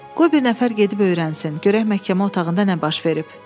Qoy bir nəfər gedib öyrənsin, görək məhkəmə otağında nə baş verib.